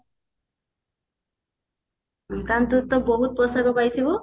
ତାମାନେ ତୁ ତ ବହୁତ ପୋଷାକ ପାଇଥିବୁ